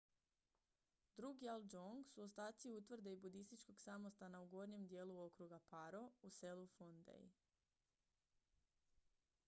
drukgyal dzong su ostaci utvrde i budističkog samostana u gornjem dijelu okruga paro u selu phondey